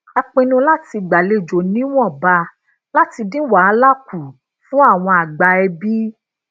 a pinnu lati gbalejo niwonba lati din wahala ku fun awon agba ebi